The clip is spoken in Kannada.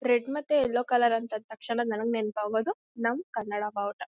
ರೆಡ್ ಮತ್ತೆ ಎಲ್ಲೋ ಕಲರ್ ಅಂದ್ ತಕ್ಷಣ ನನಗೆ ನೆನಪ್ ಆಗೋದು ನಮ ಕನ್ನಡ ಬಾವುಟ.